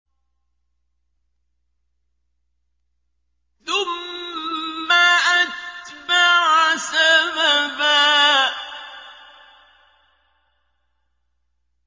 ثُمَّ أَتْبَعَ سَبَبًا